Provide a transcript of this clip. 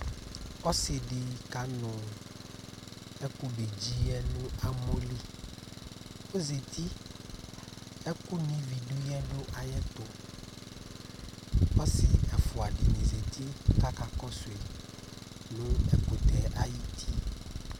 Ɔsɩ dɩ kanʋ ɛkʋbedzi yɛ nʋ amɔ li Ɔzati, ɛkʋno ivi dʋ yɛ dʋ ayɛtʋ Ɔsɩ ɛfʋa dɩnɩ zati kʋ akakɔsʋ yɩ nʋ ɛkʋtɛ ayuti